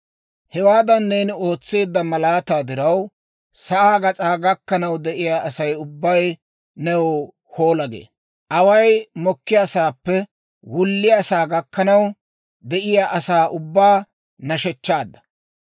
Hewaadan neeni ootseedda malaataa diraw, sa'aa gas'aa gakkanaw de'iyaa Asay ubbay new, «Hoola!» gee. Away mokkiyaasaappe wulliyaasaa gakkanaw de'iyaa asaa ubbaa nashechchaadda.